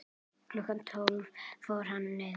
Klukkan tíu fór hann niður.